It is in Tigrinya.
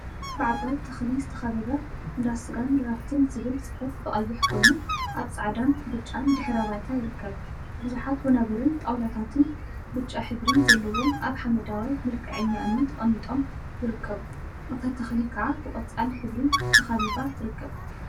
ብዓባይ ተክሊ ዝተከበበ እንዳ ስጋን ድራፍትን ዝብል ጽሑፍ ብቀይሕ ኮይኑ ኣብ ጻዕዳን ብጫን ድሕረ ባይታ ይርከብ። ቡዙሓት ወናብርን ጣውላታትን ብጫ ሕብሪ ዘለዎም ኣብ ሓመደዋይ መልክዐኛ እምኒ ተቀሚጦም ይርከቡ። እታ ተክሊ ከዓ ብቆጻል ሕብሪ ተካቢባ ትርከብ።